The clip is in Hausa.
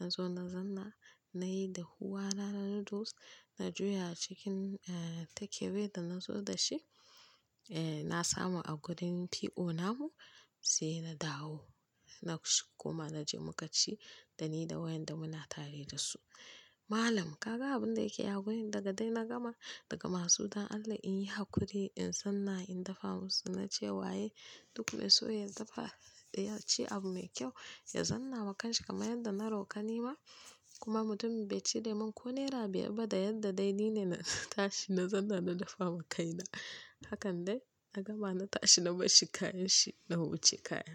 Na zo na zanna nayi da huwa na noodles na juya cikin eh take away da na zo da shi. Eh na samu a gurin PO namu sai na dawo. Na kuma na je mu ka ci da ni da wayanda muna tare da su. Malam ka ga abin da yake a wurin daga dai na gama, daga ma su don Allah in yi haƙuri in zanna in dafa musu na ce wa'yai duk mai so ya dafa ɗaya ci abu mai kyau ya zanna wa kashi kamar yadda na roƙa ni ma. Kuma mutumin bai cire min ko naira biyar ba da yadda dai ni ne na tashi na zanna na dafa wa kai na. Hakan dai a gama na tashi na bashi kayan shi na huce kaya.